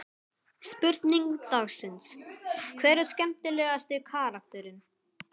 Spurning dagsins: Hver er skemmtilegasti karakterinn?